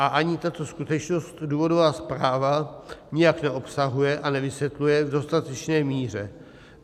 A ani tuto skutečnost důvodová zpráva nijak neobsahuje a nevysvětluje v dostatečné míře.